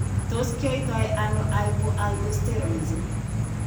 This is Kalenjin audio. Tos kinyaita ano hypoaldosteronism?